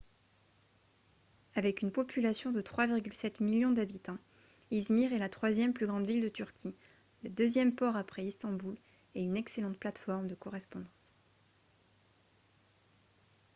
avec une population de 3,7 millions d'habitants izmir est la troisième plus grande ville de turquie le deuxième port après istanbul et une excellente plateforme de correspondance